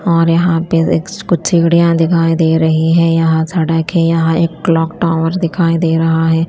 और यहाँ पे एक कुछ सीढ़ियां दिखाई दे रही है यहाँ सड़क है यहाँ एक क्लॉक टॉवर दिखाई दे रहा है।